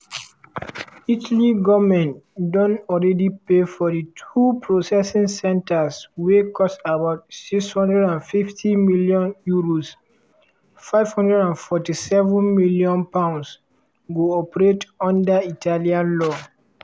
italy goment don already pay for di two processing centres wey cost about €650m (£547m) go operate under italian law.